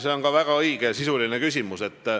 See on ka väga õige ja sisuline küsimus.